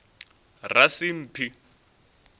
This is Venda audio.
rasimphi